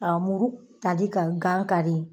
muru ka di ka gan kari